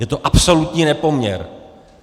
Je to absolutní nepoměr.